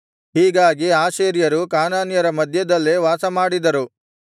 ಹೀಗಾಗಿ ಆಶೇರ್ಯರು ಕಾನಾನ್ಯರನ ಮಧ್ಯದಲ್ಲೇ ವಾಸಮಾಡಿದರು